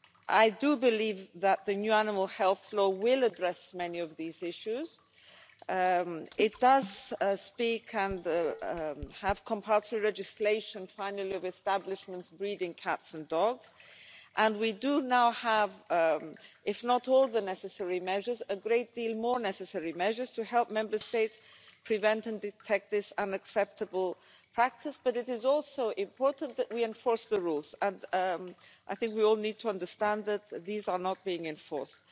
I do believe that the new Animal Health Law will address many of these issues. It does have compulsory registration, finally, of establishments breeding cats and dogs, and we do now have, if not all the necessary measures, a great deal more necessary measures to help Member States prevent and detect this unacceptable practice. But it is also important that we enforce the rules, and I think we all need to understand that these are not being enforced.